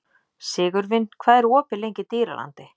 Sigurvin, hvað er opið lengi í Dýralandi?